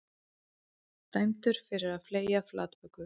Dæmdur fyrir að fleygja flatböku